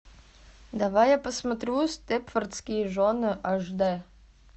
давай я посмотрю степфордские жены аш дэ